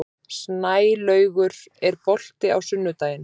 Snælaugur, er bolti á sunnudaginn?